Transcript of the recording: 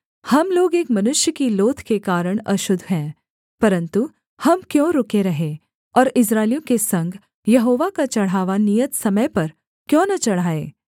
हम लोग एक मनुष्य की लोथ के कारण अशुद्ध हैं परन्तु हम क्यों रुके रहें और इस्राएलियों के संग यहोवा का चढ़ावा नियत समय पर क्यों न चढ़ाएँ